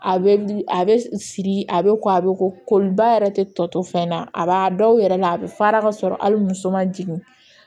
A bɛ a bɛ siri a bɛ ko a bɛ ko koliba yɛrɛ tɛ tɔ to fɛn na a b'a dɔw yɛrɛ la a bɛ fara ka sɔrɔ hali muso ma jigin